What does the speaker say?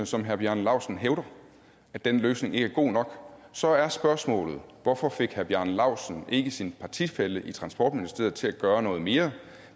som herre bjarne laustsen hævder at den løsning ikke er god nok så er spørgsmålet hvorfor fik herre bjarne laustsen ikke sin partifælle i transportministeriet til at gøre noget mere